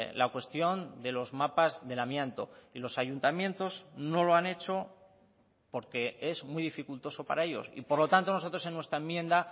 la cuestión de los mapas del amianto y los ayuntamientos no lo han hecho porque es muy dificultoso para ellos y por lo tanto nosotros en nuestra enmienda